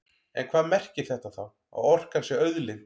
En hvað merkir þetta þá, að orkan sé auðlind?